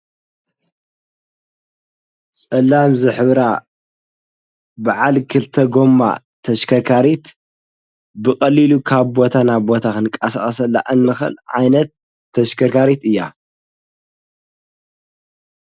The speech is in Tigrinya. ጸላም ዝኅብራ ብዓል ክልተ ጐማ ተሽከርካሪት ብቐሊሉ ካብ ቦታናቦታኽንቃሣዓሠላእንምኽል ዓይነት ተሽከርካሪት እያ።